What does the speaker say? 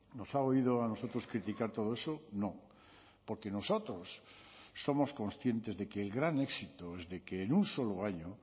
nos ha oído a nosotros critica todo eso no porque nosotros somos conscientes de que el gran éxito es de que en un solo año